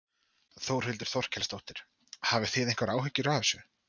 Þórhildur Þorkelsdóttir: Hafið þið einhverjar áhyggjur af þessu?